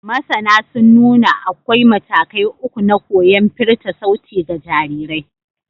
Masana sun nuna akwai matakai uku na koyon firta sauti ga jarirai.